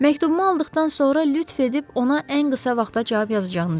Məktubumu aldıqdan sonra lütf edib ona ən qısa vaxtda cavab yazınız.